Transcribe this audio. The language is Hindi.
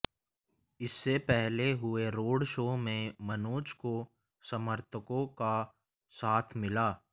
इससे पहले हुए रोड शो में मनोज को समर्थकों का साथ मिला